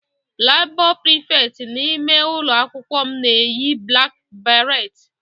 Labour prefect n'ụlọ akwụkwọ m na-eyi black beret